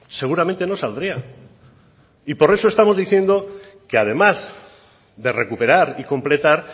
seguramente no saldría y por eso estamos diciendo que además de recuperar y completar